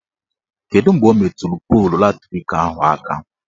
Kedu mgbe o meturu polu latrik ahụ aka?